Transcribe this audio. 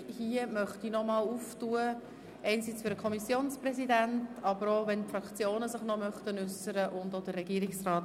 Hier möchte ich das Mikrofon noch einmal für den Kommissionspräsidenten, den Regierungsrat sowie die Fraktionen, die sich noch einmal äussern wollen, öffnen.